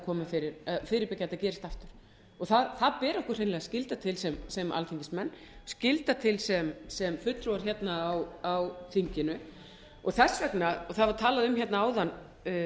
að þetta gerist aftur það ber okkur hreinlega skylda til sem alþingismenn skylda til sem fulltrúar hérna á þinginu þess vegna það var talað um hérna áðan